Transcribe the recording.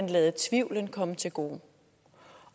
lade tvivlen komme til gode